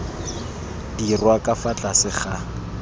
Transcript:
dirwa ka fa tlase ga